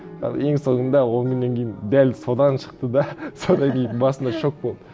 ы ең соңында он күннен кейін дәл содан шықты да содан кейін басында шок болды